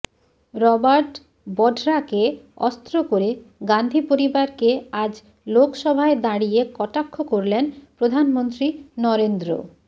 Robert বঢরাকে অস্ত্র করে গাঁধী পরিবারকে আজ লোকসভায় দাঁড়িয়ে কটাক্ষ করলেন প্রধানমন্ত্রী নরেন্দ্র